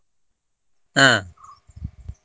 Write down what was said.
ಹಾ. .